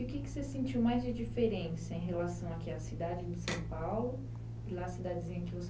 E o que que você sentiu mais de diferença em relação aqui à cidade de São Paulo e lá a cidadezinha que você